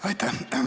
Aitäh!